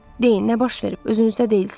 Deyin nə baş verib, özünüzdə deyilsiz.